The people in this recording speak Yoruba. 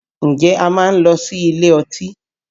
Ǹjẹ́ o máa ń lọ sí ilé ọtí